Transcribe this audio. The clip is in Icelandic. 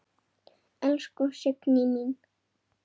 Elsku Signý mín.